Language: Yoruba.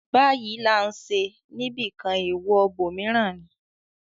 ‘‘Báyìí là ń ṣe’’ níbìkan, èèwọ̀ ibòmíràn ni.